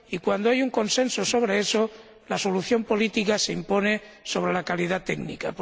Y cuando hay un consenso sobre esa cuestión, la solución política se impone sobre la calidad técnica.